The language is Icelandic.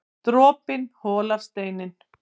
Dropinn holar steininn